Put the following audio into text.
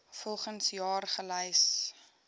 volgens jaar gelys